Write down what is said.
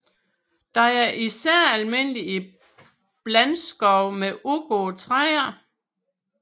Den er især almindelig i blandskov med udgåede træer